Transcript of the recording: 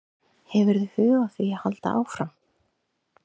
Hefurðu hug á því að halda áfram?